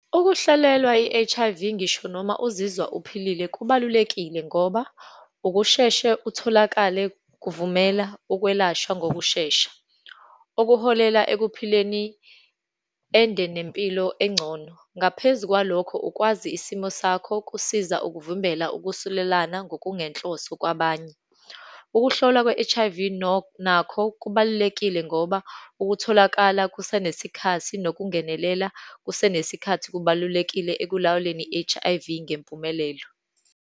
Ukuhlolelwa i-H_I_V, ngisho noma uzizwa uphilile kubalulekile, ngoba ukusheshe utholakale kuvumela ukwelashwa ngokushesha, okuholela ekuphileni ende, nempilo engcono. Ngaphezu kwalokho, ukwazi isimo sakho kusiza ukuvimbela ukusulelana ngokungenhloso kwabanye. Ukuhlolwa kwe-H_I_V nakho kubalulekile ngoba, ukutholakala kusenesikhathi, nokungenelela kusenesikhathi kubalulekile ekulawuleni i-H_I_V ngempumelelo.